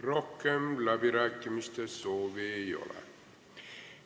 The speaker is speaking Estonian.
Rohkem läbirääkimiste soovi ei ole.